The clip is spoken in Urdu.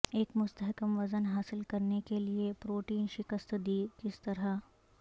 ایک مستحکم وزن حاصل کرنے کے لئے پروٹین شکست دی کس طرح